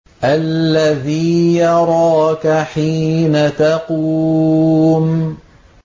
الَّذِي يَرَاكَ حِينَ تَقُومُ